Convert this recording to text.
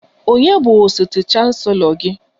Ònye bụ osote chancelo gị?